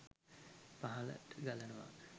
පහළට ගලනවා